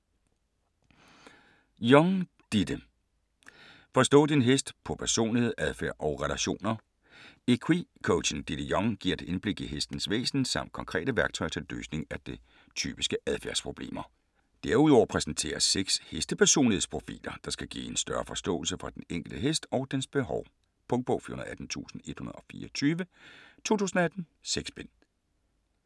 Young, Ditte: Forstå din hest: på personlighed, adfærd og relationer Equi-coachen Ditte Young giver et indblik i hestens væsen samt konkrete værktøjer til løsning af typiske adfærdsproblemer. Derudover præsenteres 6 heste-personlighedsprofiler, der skal give en større forståelse for den enkelte hest og dens behov. Punktbog 418124 2018. 6 bind.